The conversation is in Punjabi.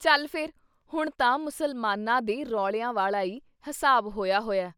ਚੱਲ ਫੇਰ ਹੁਣ ਤਾਂ ਮੁਸਲਮਾਨਾਂ ਦੇ ਰੌਲਿਆਂ ਵਾਲਾ ਈ ਹਿਸਾਬ ਹੋਇਆ ਹੋਇਆ।”